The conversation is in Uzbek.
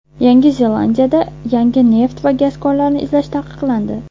Yangi Zelandiyada yangi neft va gaz konlarini izlash taqiqlandi.